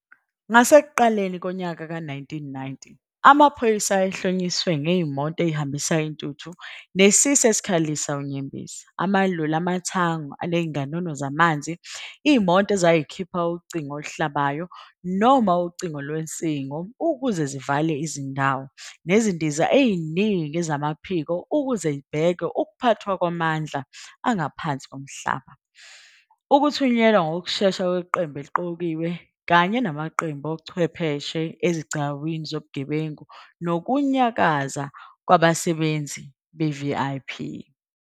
Ngasekuqaleni kwawo-1990, amaphoyisa ayehlonyiswe ngezimoto ezihambisa intuthu nesisi esikhalisa unyembezi, amaloli amathangi anezinganono zamanzi, izimoto ezazikhipha ucingo oluhlabayo noma ucingo lwensingo ukuze zivale izindawo, nezindiza eziningi zamaphiko ukuze zibhekwe, ukuphathwa kwamandla aphansi komhlaba, ukuthunyelwa ngokushesha kweQembu eliQokiwe kanye namaqembu ochwepheshe ezigcawini zobugebengu nokunyakaza kwabasebenzi be-VIP.